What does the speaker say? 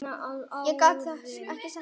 Ég gat ekki sagt neitt.